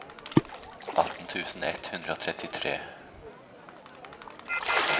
atten tusen ett hundre og trettitre